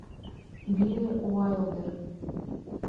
билли уайлдер